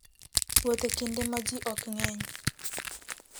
Wuoth e kinde ma ji ok ng'eny.